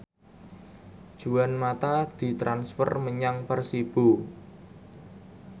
Juan mata ditransfer menyang Persibo